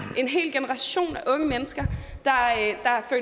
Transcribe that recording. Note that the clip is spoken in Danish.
en hel generation af unge mennesker